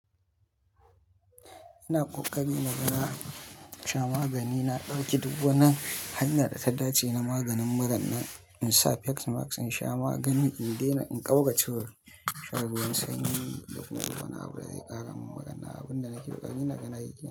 Ina ƙoƙari na ga na sha magani, na ɗauki duk wani hanya da ta dace na maganin murannan in sa face mask in sha magani in daina in ƙaugacewa ruwan sanyi dakuma wani abu da zai karamin muran nan abinda nake kokari naga nayi kenan.